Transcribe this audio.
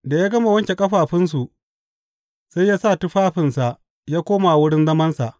Da ya gama wanke ƙafafunsu, sai ya sa tufafinsa ya koma wurin zamansa.